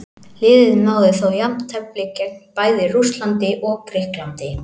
Liðið náði þó jafntefli gegn bæði Rússlandi og Grikklandi.